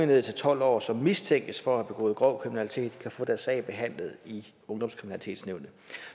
ned til tolv år som mistænkes for at have begået grov kriminalitet kan få deres sag behandlet i ungdomskriminalitetsnævnet